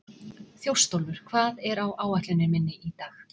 Þjóstólfur, hvað er á áætluninni minni í dag?